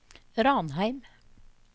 Ranheim